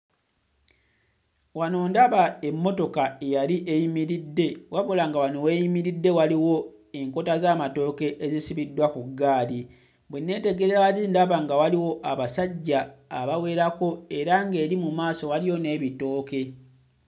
Wano ndaba emmotoka eyali eyimimiridde. Wabula nga wano w'eyimiridde waliwo enkota z'amatooke ezisibiddwa ku ggaali. Bwe neetegereza wali ndaba nga waliwo abasajja abawerako era ng'eri mu maaso waliyo n'ebitooke